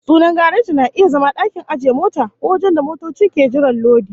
Sunan gareji na iya zama dakin ajiye mota, ko wajen da motoci ke jiran lodi